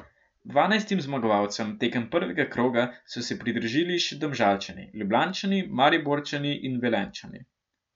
Dvanajstim zmagovalcem tekem prvega kroga so se pridružili še Domžalčani, Ljubljančani, Mariborčani in Velenjčani.